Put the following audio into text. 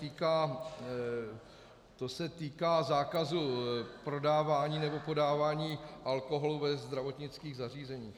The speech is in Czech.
To se týká zákazu prodávání nebo podávání alkoholu ve zdravotnických zařízeních.